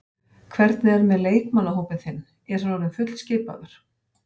Hvernig er með leikmannahópinn þinn, er hann orðinn fullskipaður?